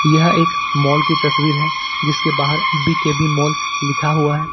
यह एक मॉल की तस्वीर है जिसके बाहर बी_के_बी मॉल लिखा हुआ है।